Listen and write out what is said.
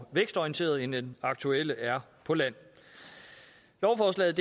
vækstorienteret end den aktuelle er på land lovforslaget